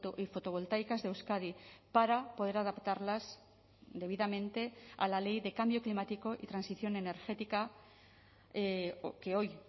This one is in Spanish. y fotovoltaicas de euskadi para poder adaptarlas debidamente a la ley de cambio climático y transición energética que hoy